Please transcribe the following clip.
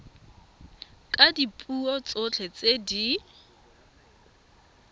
ka dipuo tsotlhe tse di